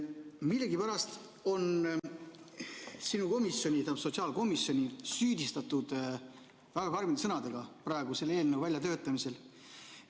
Millegipärast on sinu komisjoni, sotsiaalkomisjoni praeguse eelnõu väljatöötamisel süüdistatud väga karmide sõnadega.